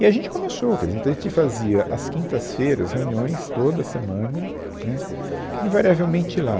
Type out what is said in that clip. E a gente começou, quer dizer, então, a gente fazia às quintas-feiras reuniões toda semana, né, invariavelmente lá.